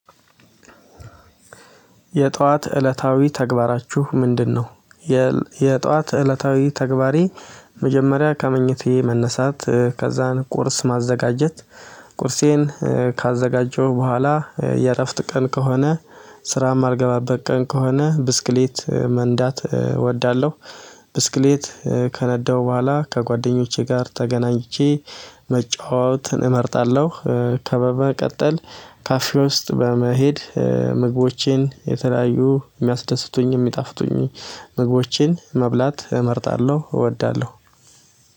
የጧት እለታዊ ተግባራችሁ ምንድነው? የጧት እለታዊ ተግባሬ መጀመሪያ ከመኝታዬ መነሳት ከዛን ቁርስ ማዘጋጀት ቁርሴን ካዘጋጀሁ በኋላ የእረፍት ቀን ከሆነ ስራ የማልገባበት ቀን ከሆነ ብስክሌት መንዳት እወዳለሁ። ብስክሌት ከነዳሁ በኋላ ከጓደኞቼ ጋር ተገናኝቼ መጫወትን እመርጣለሁ። ከዛ በመቀጠል ካፌ ውስጥ በመሄድ ምግቦቼን የተለያዩ የሚያስደስቱኝም የሚጣፍጡኝ ምግቦቼን መብላት እመርጣለሁ እወዳለሁ።